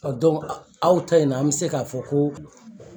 aw ta in na an bɛ se k'a fɔ ko